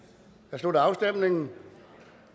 slutter afstemningen